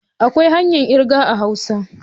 Akwai hanyar kirga a hausa.